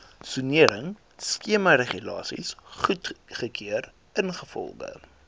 soneringskemaregulasies goedgekeur ingevolge